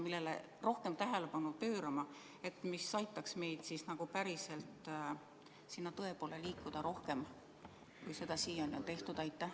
Millele peaks rohkem tähelepanu pöörama, nii et see aitaks meid päriselt tõe poole liikuda rohkem, kui seda siiani on suudetud?